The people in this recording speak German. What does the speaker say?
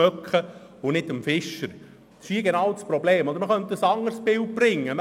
Man kann auch ein anderes Bild verwenden.